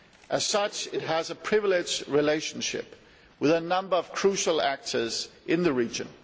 As such, it has a privileged relationship with a number of crucial actors in the region.